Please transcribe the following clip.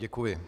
Děkuji.